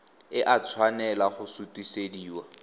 e a tshwanela go sutisediwa